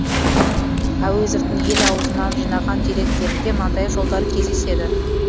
әуезовтің ел аузынан жинаған деректерінде мынадай жолдар кездеседі